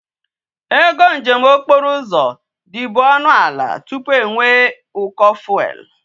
Ego njem okporo uzo di bu onu ala tupu enwe e uko fuel